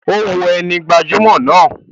O wo ẹni gbajumọ náà.